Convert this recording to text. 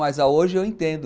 Mas hoje eu entendo.